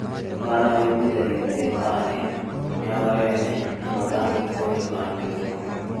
Ngano yũmithagio mĩgekainĩ, mĩnyoreinĩ na mathandũkũinĩ handũ igũrũ